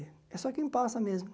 É só quem passa mesmo.